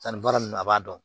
Sanni baara nunnu a b'a dɔn